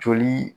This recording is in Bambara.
Joli